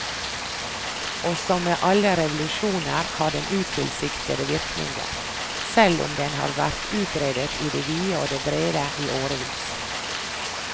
Og som med alle revolusjoner har den utilsiktede virkninger, selv om den har vært utredet i det vide og det brede i årevis.